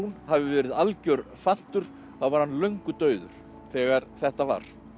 hafi verið algjör fantur þá var hann löngu dauður þegar þetta var